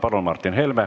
Palun, Martin Helme!